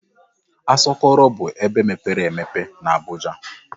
Asọkọrọ bụ ebe mepere emepe na Abuja.